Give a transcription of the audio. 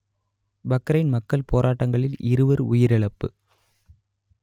Bahrain மக்கள் போராட்டங்களில் இருவர் உயிரிழப்பு